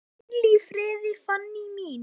Hvíl í friði, Fanný mín.